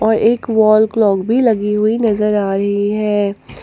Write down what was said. एक wall clock भी लगी हुई नजर आ रही है।